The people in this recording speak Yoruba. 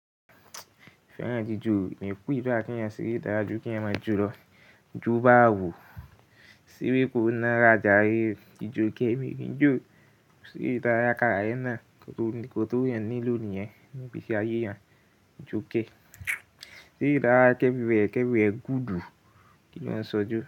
Fẹ́ràn jíjò ni pé ìbá kí ẹ sì rí ìdájú kí ẹ máa jolọ jó bá wo síbí kò na ra jare jíjòkẹ́ mi. Jíjò sí ìdárayá karaẹ̀ náà kan ti ènìyàn nílò nìyẹn ní igbeṣi ayé eeyan. Jókẹ́, sí ìdárayá ki éverywhẹre, ki éverywhẹre gùudù kí lọn sọ jó.